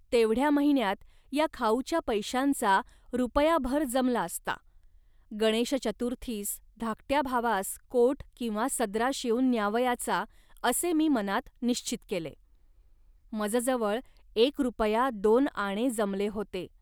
तेवढ्या महिन्यांत या खाऊच्या पैशांचा रुपयाभर जमला असता, गणेशचतुर्थीस धाकट्या भावास कोट किंवा सदरा शिवून न्यावयाचा, असे मी मनात निश्चित केले. मजजवळ एक रुपया दोन आणे जमले होते